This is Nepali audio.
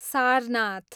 सारनाथ